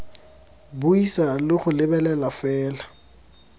buisa le go lebelela fela